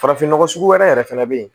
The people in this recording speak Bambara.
Farafin nɔgɔ sugu wɛrɛ yɛrɛ fana bɛ yen